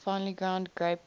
finely ground graphite